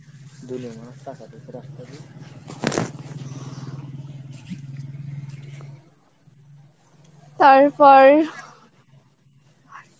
তারপর